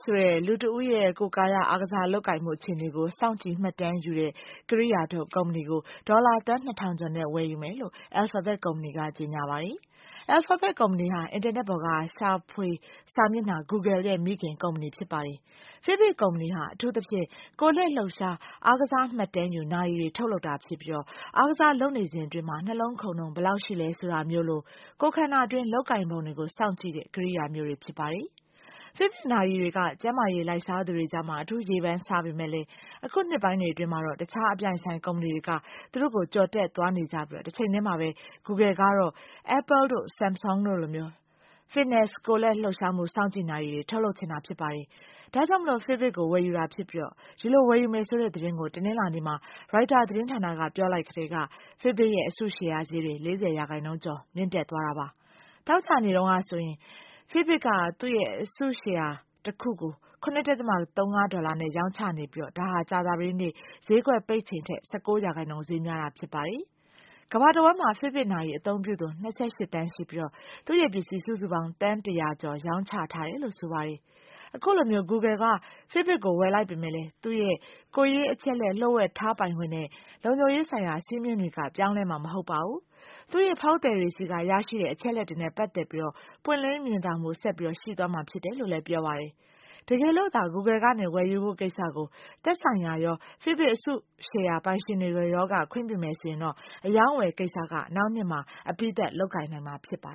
ဆိုတဲ့ လူတဦးရဲ့ ကိုယ်ကာယ အားကစားလုပ်ကိုင်မှု အခြေအနေကို စောင့်ကြည့်မှတ်တမ်းယူတဲ့ ကိရိယာထုတ် ကုမ္ပဏီကို ဒေါ်လာ သန်း ၂ ထောင်ကျော်နဲ့ ဝယ်ယူမယ်လို့ Alphabet ကုမ္ပဏီက ကြေညာပါတယ်။ Alphabet ကုမ္ပဏီဟာ အင်တာနက်ပေါ်က ရှာဖွေစာမျက်နှာ Google ရဲ့ မိခင်ကုမ္ပဏီ ဖြစ်ပါတယ်။ Fitbit ကုမ္ပဏီဟာ အထူးသဖြင့် ကိုယ်လက်လှုပ်ရှား အားကစားမှတ်တမ်းယူ နာရီတွေ ထုတ်လုပ်တာဖြစ်ပြီး အားကစားလုပ်နေစဉ်အတွင်း နှလုံးခုန်နှုန်း ဘယ်လောက်ရှိတယ် ဆိုတာမျိုးလို ကိုယ်ခန္ဓာတွင်း လုပ်ကိုင်ပုံကို စောင့်ကြည့်တဲ့ ကိရိယာမျိုးတွေ ဖြစ်ပါတယ်။ Fitbit နာရီတွေက ကျန်းမာရေးလိုက်စားသူတွေကြား အထူးရေပန်းစားပေမယ့် အခုနှစ်ပိုင်းတွေ အတွင်းမှာတော့ တခြား အပြိုင်အဆိုင် ကုမ္ပဏီတွေက သူ့ကို ကျော်တက်သွားနေကြပြီး တချိန်တည်းမှာပဲ Google ကတော့ Apple တို့၊ Sumsung တို့လို Fitness ကိုယ်လက်လှုပ်ရှားမှု စောင့်ကြည့်နာရီတွေကို ထုတ်လုပ်ချင်တာ ဖြစ်ပါတယ်။ ဒါကြောင့် Fitbit ကို ဝယ်ယူတာဖြစ်ပြီး ဒီလို ဝယ်ယူမယ်ဆိုတဲ့သတင်းကို တနင်္လာနေ့မှာ ရိုက်တာသတင်းဌာနက ပြောလိုက်ကတည်းက Fitbit ရဲ့ အစုရှယ်ယာဈေးတွေ ၄၀ % ကျော် မြင့်တက်သွားပါတယ်။ သောကြာနေ့တုန်းကဆိုရင် Fitbit က သူ့အစုရှယ်ယာတခုကို ၇.၃၅ ဒေါ်လာနဲ့ ရောင်းချနေပြီး ဒါဟာ ကြာသပတေးနေ့ ဈေးကွက်ပိတ်ချိန်ထက် ၁၉ % ဈေးများတာ ဖြစ်ပါတယ်။ ကမ္ဘာတဝန်းမှာ Fitbit နာရီ အသုံးပြုသူ ၂၈ သန်းရှိပြီး သူ့ပစ္စည်း စုစုပေါင်း သန်း ၁၀၀ ကျော် ရောင်းချထားရတယ်လို့ ဆိုပါတယ်။ အခုလို Google က Fitbit ကို ဝယ်လိုက်ပေမယ့် သူ့ရဲ့ ကိုယ်ရေးအချက်အလက် လျှို့ဝှက်ထားပိုင်ခွင့်နဲ့ လုံခြုံရေးဆိုင်ရာ စည်းမျဉ်းတွေက ပြောင်းလဲမှာမဟုတ်ဘူး၊ သူ့ဖောက်သည်တွေဆီက ရရှိတဲ့ အချက်အလက်တွေနဲ့ ပတ်သက်ပြီးတော့ ပွင့်လင်းမြင်သာမှု ဆက်ပြီး ရှိသွားမှာဖြစ်တယ်လို့လည်း ပြောပါတယ်။ တကယ်လို့သာ Google ကနေ ဝယ်ယူဖို့ကိစ္စကို သက်ဆိုင်ရာရော၊ Fitbit အစုရှယ်ယာပိုင်ရှင်တွေရောက ခွင့်ပြုမယ်ဆိုရင် အရောင်းအဝယ်ကိစ္စက နောက်နှစ်မှာ အပြီးသတ်လုပ်နိုင်မှာ ဖြစ်ပါ